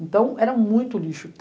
Então era muito lixo.